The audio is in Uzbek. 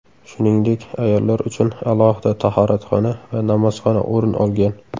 Shuningdek, ayollar uchun alohida tahoratxona va namozxona o‘rin olgan.